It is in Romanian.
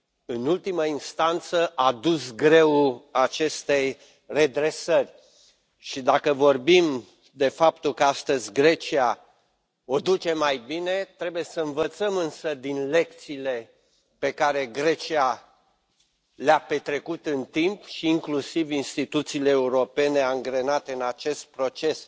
în ultimă instanță, a dus greul acestei redresări. Și, dacă vorbim de faptul că astăzi Grecia o duce mai bine, trebuie să învățăm însă din lecțiile pe care Grecia le a învățat în timp și inclusiv instituțiile europene angrenate în acest proces.